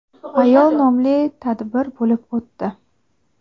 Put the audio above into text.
ayol nomli tadbir bo‘lib o‘tdi.